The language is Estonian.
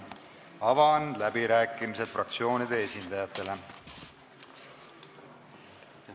Avan läbirääkimised fraktsioonide esindajatele.